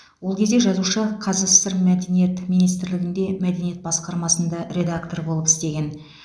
ол кезде жазушы қазсср мәдениет министрлігінде мәдениет басқармасында редактор болып істеген